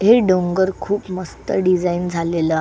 हे डोंगर खूप मस्त डिझाईन झालेल आ--